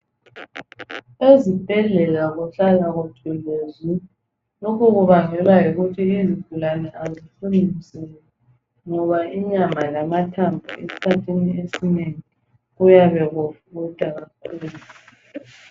Ezibhedlela kuhlala kuthule zwi lokhu kubangwela yikuthi izigulani azifuni msindo ngoba inyama lamathambo esikhathini esinengi kuyabe kufutha kakhulu